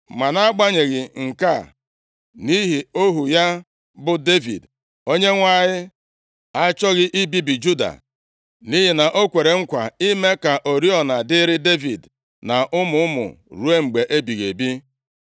Ma nʼagbanyeghị nke a, nʼihi ohu ya bụ Devid Onyenwe anyị achọghị ibibi Juda. Nʼihi na o kwere nkwa ime ka oriọna dịịrị Devid na ụmụ ụmụ ruo mgbe ebighị ebi.